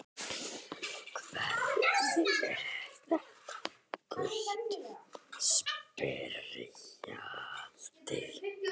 Hvernig er þetta gult spjald?